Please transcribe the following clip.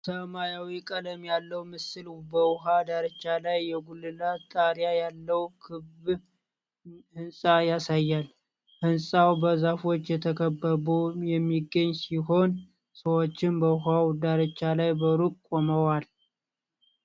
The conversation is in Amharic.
ሰማያዊ ቀለም ያለው ምስል በውሃ ዳርቻ ላይ የጉልላት ጣሪያ ያለው ክብ ህንጻ ያሳያል። ሕንጻው በዛፎች ተከብቦ የሚገኝ ሲሆን፣ ሰዎችም በውሃው ዳርቻ ላይ በሩቅ ቆመዋል?